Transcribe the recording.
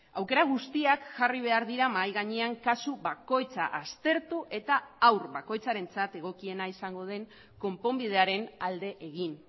aukera guztiak jarri behar dira mahai gainean kasu bakoitza aztertu eta haur bakoitzarentzat egokiena izango den konponbidearen alde egin